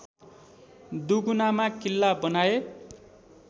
दुगुनामा किल्ला बनाए